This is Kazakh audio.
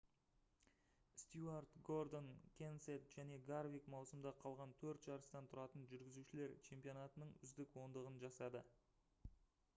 стюарт гордон кенсет және гарвик маусымда қалған төрт жарыстан тұратын жүргізушілер чемпионатының үздік ондығын жасады